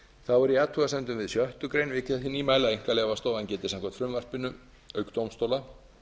þá er í athugasemdum við sjöttu grein vikið að þeim nýmælum að einkaleyfastofan geti samkvæmt frumvarpinu auk dómstóla